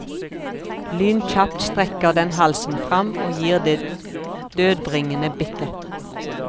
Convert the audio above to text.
Lynkjapt strekker den halsen frem og gir det dødbringende bittet.